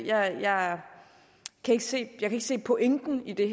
jeg kan ikke se se pointen i det